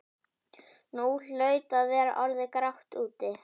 Nú hlaut að vera orðið grátt úti.